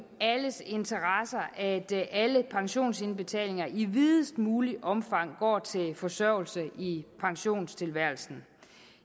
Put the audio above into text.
alles interesse at alle pensionsindbetalinger i videst muligt omfang går til forsørgelse i pensionisttilværelsen